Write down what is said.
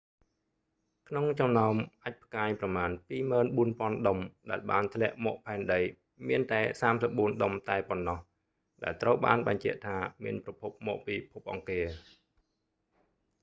ក្នុងចំណោមអាចម៍ផ្កាយប្រមាណ 24000 ដុំដែលបានធ្លាក់មកផែនដី មានតែ 34 ដុំតែប៉ុណ្ណោះដែលត្រូវបានបញ្ជាក់ថាមានប្រភពមកពីភពអង្គារ